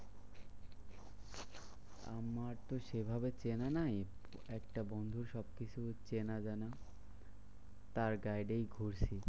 আমার তো সেভাবে চেনা নাই। একটা বন্ধুর সবকিছু চেনা জানাজানা। তার guide এই ঘুরছি।